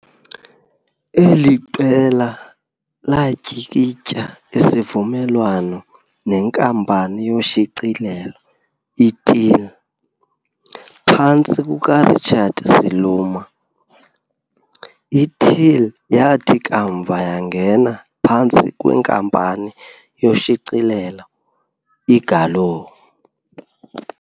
eli qela latyikitya isivumelwano nenkampani yoshicilelo iTeal, phantsi kuka Richard Siluma, iTeal yathi kamva yangena phantsi kwenkampani yoshicilelo iGallo.